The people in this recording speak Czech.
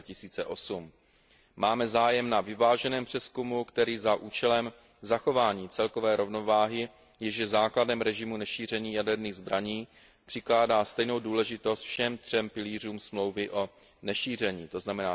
2008. Máme zájem na vyváženém přezkumu, který za účelem zachování celkové rovnováhy, jež je základem režimu nešíření jaderných zbraní, přikládá stejnou důležitost všem třem pilířům Smlouvy o nešíření, tzn.